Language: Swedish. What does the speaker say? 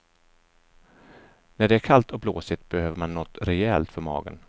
När det är kallt och blåsigt behöver man något rejält för magen.